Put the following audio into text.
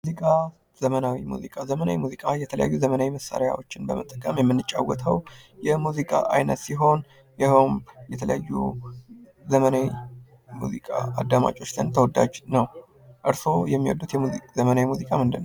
ሙዚቃ ዘመናዊ ሙዚቃ ዘመናዊ ሙዚቃ የተለያዩ ዘመናዊ መሳሪያዎችን በመጠቀም የምንጫወተው የሙዚቃ አይነት ሲሆን ይኸውም የተለያዩ ዘመናዊ ሙዚቃ አዳማጮችን ተወዳጅ ነው። እርሶ የሚወዱት ዘመናዊ ሙዚቃ ምንድን ነው።